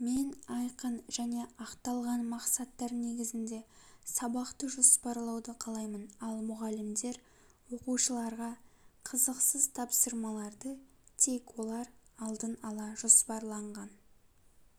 мен айқын және ақталған мақсаттар негізінде сабақты жоспарлауды қалаймын ал мұғалімдер оқушыларға қызықсыз тапсырмаларды тек олар алдын-ала жоспарланған